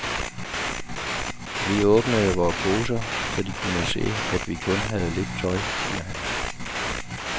Vi åbnede vore poser, så de kunne se, at vi kun havde lidt tøj, siger han.